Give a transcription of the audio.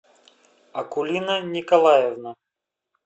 акулина николаевна